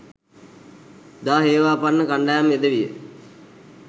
ජා හේවාපන්න කණ්ඩායම් යෙදවිය.